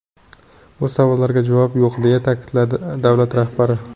Bu savollarga javob yo‘q”, deya ta’kidladi davlat rahbari.